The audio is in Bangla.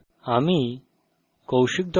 অংশগ্রহনের জন্য ধন্যবাদ